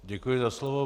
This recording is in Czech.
Děkuji za slovo.